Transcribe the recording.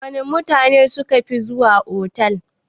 Wana mutane sukafi zuwa otal?